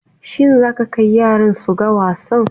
Shin zaka kai yaran su ga wasan?